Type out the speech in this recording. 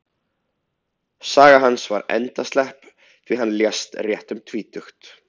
Saga hans var endaslepp, því hann lést rétt um tvítugt.